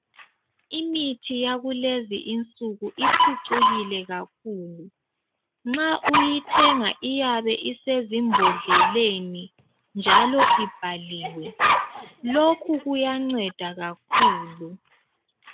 Imithi yakulezinsuku iphucukile kakhulu nxa uyithenga iyabe isezimbodleleni njalo iyabe ibhaliwe lokhu kuyanceda kakhulu.